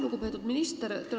Lugupeetud minister!